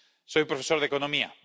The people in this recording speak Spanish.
Soy profesor de economía.